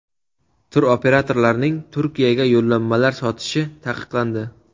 Turoperatorlarning Turkiyaga yo‘llanmalar sotishi taqiqlandi.